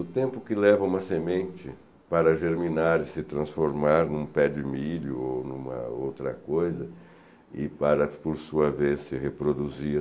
O tempo que leva uma semente para germinar e se transformar em um pé de milho ou em uma outra coisa e para, por sua vez, se reproduzir.